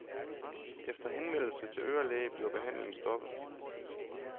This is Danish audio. Efter henvendelse til ørelægen bliver behandlingen stoppet.